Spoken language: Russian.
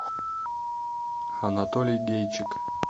анатолий гейчик